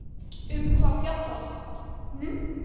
Um hvað fjallar það?